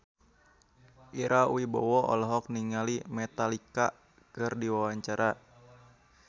Ira Wibowo olohok ningali Metallica keur diwawancara